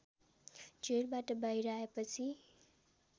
जेलबाट बाहिर आएपछि